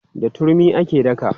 Da turmi ake daka.